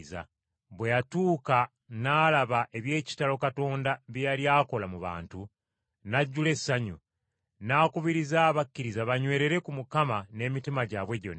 Bwe yatuuka n’alaba eby’ekitalo Katonda bye yali akola mu bantu, n’ajjula essanyu, n’akubiriza abakkiriza banywerere ku Mukama n’emitima gyabwe gyonna.